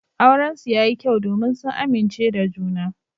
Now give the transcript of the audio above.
Aurensu yayi kyau domin sun amince da juna.